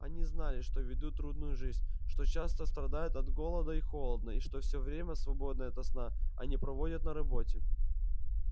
они знали что ведут трудную жизнь что часто страдают от голода и холода и что всё время свободное от сна они проводят на работе